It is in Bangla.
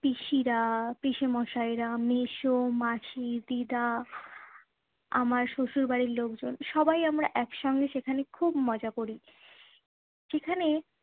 পিসিরা, পিসেমশাইরা, মেসো, মাসি, দিদা, আমার শশুর বাড়ির লোকজন। সবাই আমরা একসঙ্গে সেখানে খুব মজা করি। যেখানে